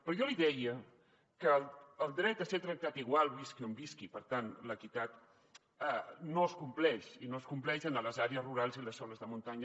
però jo li deia que el dret a ser tractat igual visqui on visqui per tant l’equitat no es compleix i no es compleix en les àrees rurals i a les zones de muntanya